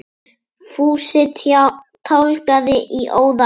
Fúsi tálgaði í óða önn.